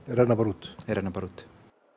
renna bara út þeir renna bara út